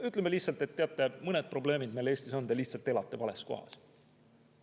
Ütleme lihtsalt, et teate, mõned probleemid meil Eestis on, te lihtsalt elate vales kohas.